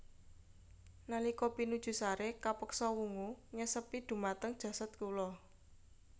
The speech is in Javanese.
Nalika pinuju sare kapeksa wungu nyesepi dhumateng jasad kula